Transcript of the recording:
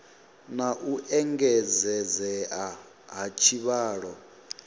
na u engedzedzea ha tshivhalo